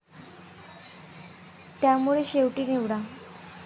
त्यामुळे शेवटी निवडा?